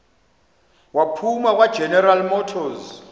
waphuma kwageneral motors